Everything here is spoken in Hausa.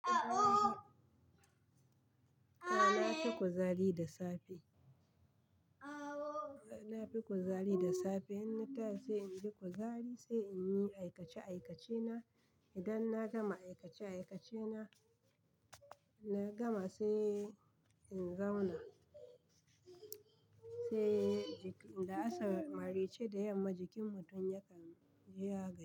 A na fi kuzari da safe. Na fi kuzari da safe. Ina ta sai in ji kuzari sai in yi aikace aikacena. Idan na gama aikace aikacena, na gama sai in zauna. Sai da la'asar maraice da yamma jikin mutum yakan ya gaji.